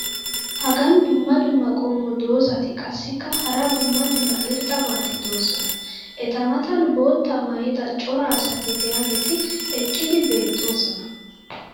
Hagan dumma dumma qommo dozzati qassikka hara dumma dumma irxxabati doosona. eta matan boottaa maayida cora asati diyaageeti eqqidi beetoosona.